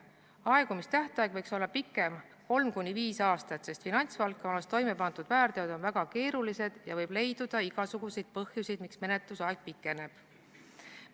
Aegumistähtaeg võiks olla pikem, 3–5 aastat, sest finantsvaldkonnas toimepandud väärteod on väga keerulised ja võib leiduda igasuguseid põhjuseid, miks menetlusaeg pikeneb.